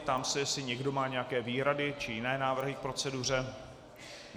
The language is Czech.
Ptám se, jestli někdo má nějaké výhrady či jiné návrhy k proceduře.